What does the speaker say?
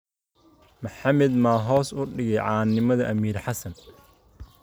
Maxamed ma hoos u dhigay caannimada Amiir Xassan?